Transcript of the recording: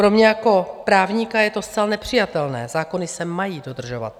Pro mě jako právníka je to zcela nepřijatelné, zákony se mají dodržovat.